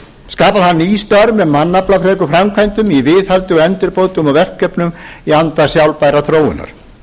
skapa þarf ný störf með mannaflafrekum framkvæmdum í viðhaldi og endurbótum og verkefnum í anda sjálfbærrar þróunar